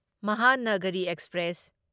Mahanagari express